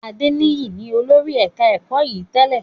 Adeniyi ni olórí ẹ̀ka ẹ̀kọ́ yìí tẹ́lẹ̀